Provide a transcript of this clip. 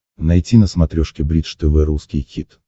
найти на смотрешке бридж тв русский хит